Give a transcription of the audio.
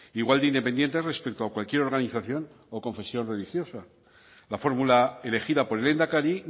igual de independientes respecto a cualquier organización o confesión religiosa la fórmula elegida por el lehendakari